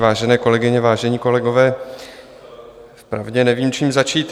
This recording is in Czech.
Vážené kolegyně, vážení kolegové, vpravdě nevím, čím začít.